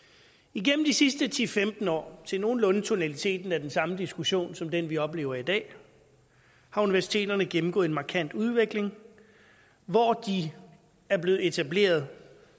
igennem de sidste ti til femten år til nogenlunde tonaliteten af den samme diskussion som den vi oplever i dag har universiteterne gennemgået en markant udvikling hvor de er blevet etableret